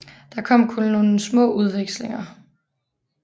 Det kom der kun nogle små skudvekslinger ud af